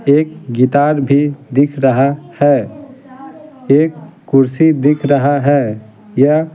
एक गितार भी दिख रहा है एक कुर्सी दिख रहा है यह--